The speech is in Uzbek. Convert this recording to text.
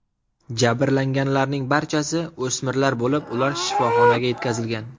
Jabrlanganlarning barchasi o‘smirlar bo‘lib, ular shifoxonaga yetkazilgan.